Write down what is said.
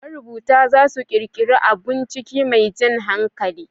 Marubuta za su ƙirƙiri abun ciki mai jan hankali